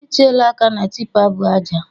I tiela aka na tipa bu ajai!